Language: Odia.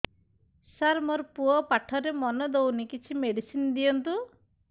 ସାର ମୋର ପୁଅ ପାଠରେ ମନ ଦଉନି କିଛି ମେଡିସିନ ଦିଅନ୍ତୁ